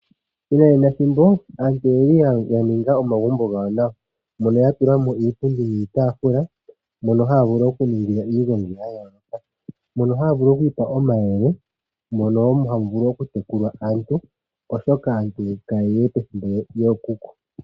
Methimbo lyo ngaashingeyi aantu oyeli ya ninga omagumbo gawo nawa mono ya tula mo iipundi niitafula mono haya vulu okuningila iigongi ya yooloka mono haya vulu okwiipa omayele mono ha mu vulu wo okutekula aantu oshoka aantu kaye liwe pethimbo lyookuku.